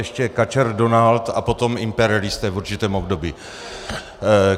Ještě kačer Donald a potom imperialisté v určitém období.